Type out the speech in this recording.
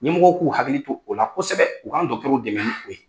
Ɲɛmɔgɔw k'u hakili to o la kosɛbɛ u k'an dɛmɛ ni o ye.